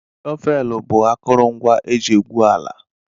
Shọvel bu akọrọngwa eji egwụ ala